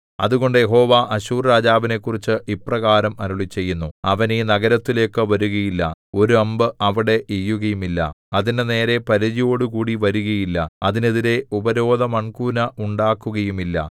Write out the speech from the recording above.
അതുകൊണ്ട് യഹോവ അശ്ശൂർരാജാവിനെക്കുറിച്ച് ഇപ്രകാരം അരുളിച്ചെയ്യുന്നു അവൻ ഈ നഗരത്തിലേക്കു വരുകയില്ല ഒരു അമ്പ് അവിടെ എയ്യുകയുമില്ല അതിന്റെ നേരെ പരിചയോടുകൂടി വരുകയില്ല അതിനെതിരെ ഉപരോധ മൺകൂന ഉണ്ടാക്കുകയുമില്ല